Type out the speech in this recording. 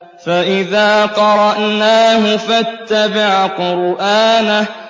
فَإِذَا قَرَأْنَاهُ فَاتَّبِعْ قُرْآنَهُ